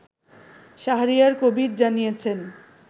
শাহরিয়ার কবির জানিয়েছেন